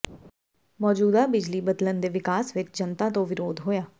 ਮੌਜੂਦਾ ਬਿਜਲੀ ਬਦਲਣ ਦੇ ਵਿਕਾਸ ਵਿੱਚ ਜਨਤਾ ਤੋਂ ਵਿਰੋਧ ਹੋਇਆ